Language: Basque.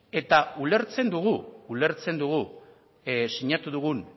eta ulertzen dugu ulertzen dugu sinatu dugun